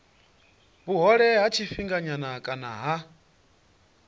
vhuhole ha tshifhinganyana kana ha